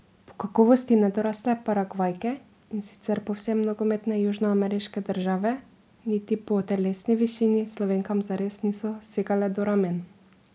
Po kakovosti nedorasle Paragvajke iz sicer povsem nogometne južnoameriške države niti po telesni višini Slovenkam zares niso segale do ramen.